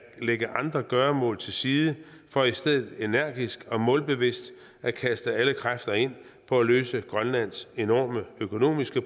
lægge andre gøremål til side for i stedet energisk og målbevidst at kaste alle kræfter ind på at løse grønlands enorme økonomiske